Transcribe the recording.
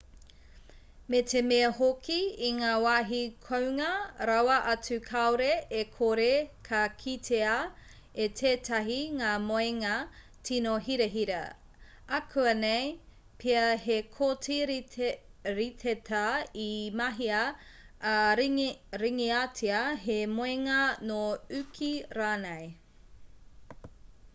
me te mea hoki i ngā wāhi kounga rawa atu kāore e kore ka kitea e tētahi ngā moenga tīno hirahira ākuanei pea he koti riteta i mahia ā-ringatia he moenga nō uki rānei